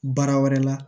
Baara wɛrɛ la